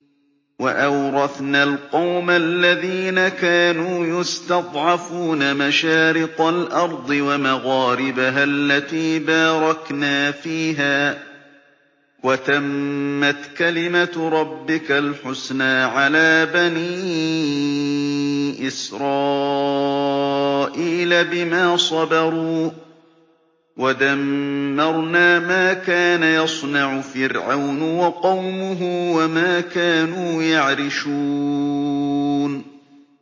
وَأَوْرَثْنَا الْقَوْمَ الَّذِينَ كَانُوا يُسْتَضْعَفُونَ مَشَارِقَ الْأَرْضِ وَمَغَارِبَهَا الَّتِي بَارَكْنَا فِيهَا ۖ وَتَمَّتْ كَلِمَتُ رَبِّكَ الْحُسْنَىٰ عَلَىٰ بَنِي إِسْرَائِيلَ بِمَا صَبَرُوا ۖ وَدَمَّرْنَا مَا كَانَ يَصْنَعُ فِرْعَوْنُ وَقَوْمُهُ وَمَا كَانُوا يَعْرِشُونَ